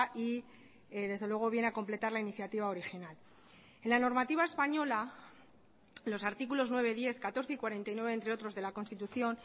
y desde luego viene a completar la iniciativa original en la normativa española los artículos nueve diez catorce y cuarenta y nueve entre otros de la constitución